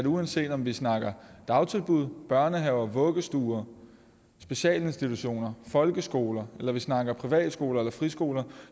uanset om vi snakker dagtilbud børnehaver vuggestuer specialinstitutioner folkeskoler eller vi snakker privatskoler eller friskoler